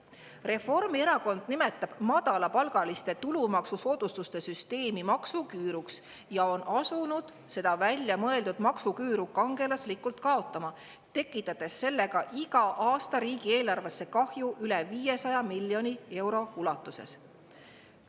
Reformierakond nimetab madalapalgaliste tulumaksusoodustuste süsteemi maksuküüruks ja on asunud seda väljamõeldud maksuküüru kangelaslikult kaotama, tekitades sellega iga aasta riigieelarvesse kahju üle 500 miljoni euro ulatuses.